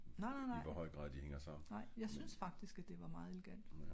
nej nej nej